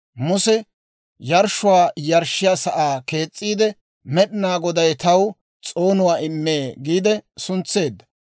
Muse yarshshuwaa yarshshiyaa sa'aa kees's'iide, «Med'inaa Goday taw s'oonuwaa immee» giide suntseedda.